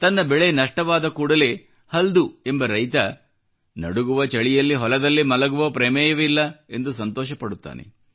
ತನ್ನ ಬೆಳೆ ನಷ್ಟವಾದ ಮೇಲೆ ಕೂಡಾ ಹಲ್ದು ಎಂಬ ರೈತ ನಡುಗುವ ಚಳಿಯಲ್ಲಿ ಹೊಲದಲ್ಲಿ ಮಲಗುವ ಪ್ರಮೇಯವಿಲ್ಲ ಎಂದು ಸಂತೋಷಪಡುತ್ತಾನೆ